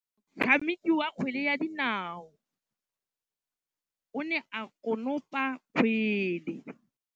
Motshameki wa kgwele ya dinaô o ne a konopa kgwele.